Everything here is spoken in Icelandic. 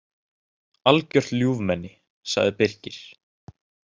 Algjört ljúfmenni, sagði Birgir.